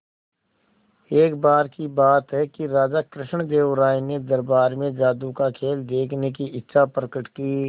एक बार की बात है कि राजा कृष्णदेव राय ने दरबार में जादू का खेल देखने की इच्छा प्रकट की